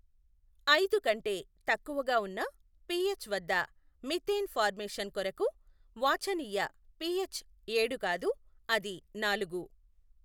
అయిదు కంటే తక్కువగా ఉన్న పిఎచ్ వద్ద మిథేన్ ఫార్మేషన్ కొరకు వాఛనీయ పిఎచ్ ఏడు కాదు అది నాలుగు.